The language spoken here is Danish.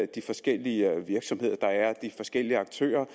de forskellige virksomheder de forskellige aktører